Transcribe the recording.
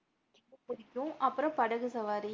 புடிக்கும் அப்புறம் படகு சவாரி.